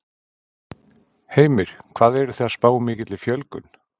Heimir: Hvað eruð þið að spá mikilli fjölgun?